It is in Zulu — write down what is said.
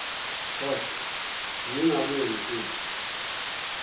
horse bengingabuye ngithini